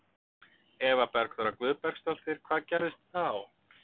Eva Bergþóra Guðbergsdóttir: Hvað gerðist þá?